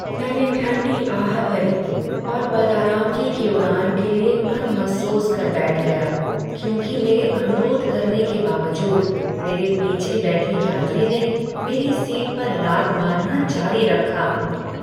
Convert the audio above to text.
मैंने ठंडी आह भरी और बदआरामगी की उड़ान के लिए मन मसोस कर बैठ गया क्योंकि मेरे अनुरोध करने के बावजूद मेरे पीछे बैठे यात्री ने मेरी सीट पर लात मारना जारी रखा।